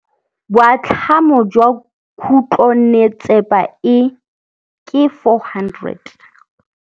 Boatlhamô jwa khutlonnetsepa e, ke 400.